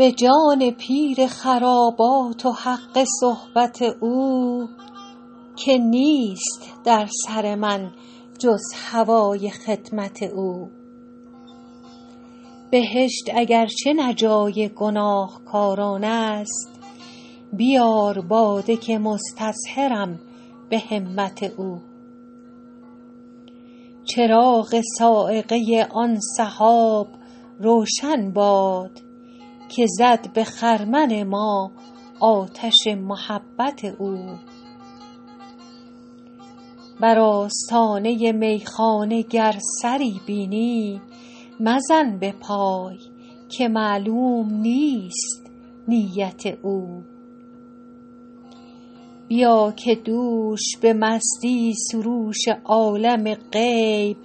به جان پیر خرابات و حق صحبت او که نیست در سر من جز هوای خدمت او بهشت اگر چه نه جای گناهکاران است بیار باده که مستظهرم به همت او چراغ صاعقه آن سحاب روشن باد که زد به خرمن ما آتش محبت او بر آستانه میخانه گر سری بینی مزن به پای که معلوم نیست نیت او بیا که دوش به مستی سروش عالم غیب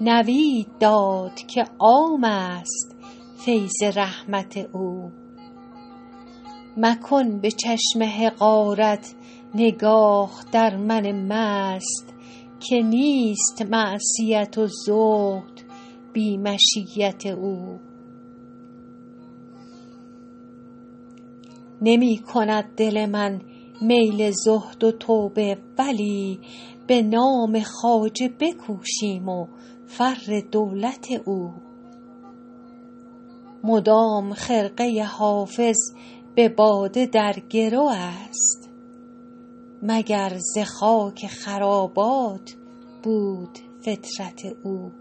نوید داد که عام است فیض رحمت او مکن به چشم حقارت نگاه در من مست که نیست معصیت و زهد بی مشیت او نمی کند دل من میل زهد و توبه ولی به نام خواجه بکوشیم و فر دولت او مدام خرقه حافظ به باده در گرو است مگر ز خاک خرابات بود فطرت او